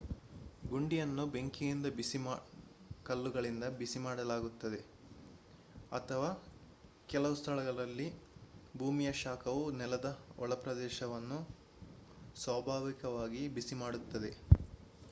ಗುಂಡಿಯನ್ನು ಬೆಂಕಿಯಿಂದ ಬಿಸಿ ಕಲ್ಲುಗಳಿಂದ ಬಿಸಿ ಮಾಡಲಾಗುತ್ತದೆ ಅಥವಾ ಕೆಲವು ಸ್ಥಳಗಳಲ್ಲಿ ಭೂಮಿಯ ಶಾಖವು ನೆಲದ ಒಳಪ್ರದೇಶಗಳನ್ನು ಸ್ವಾಭಾವಿಕವಾಗಿ ಬಿಸಿ ಮಾಡುತ್ತದೆ